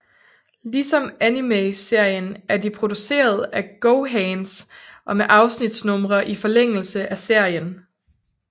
Ligesom animeserien er de produceret af GoHands og med afsnitsnumre i forlængelse af serien